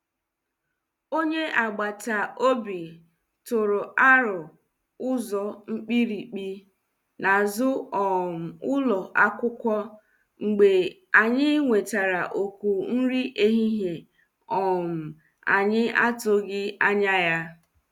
Onye agbata obi tụrụ aro ụzọ mkpirikpi n’azụ um ụlọ akwụkwọ mgbe anyị nwetara oku nri ehihie um anyi atughi anya ya.